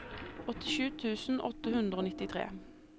åttisju tusen åtte hundre og nittitre